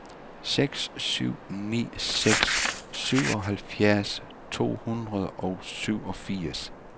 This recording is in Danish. seks syv ni seks syvoghalvfems to hundrede og syvogfirs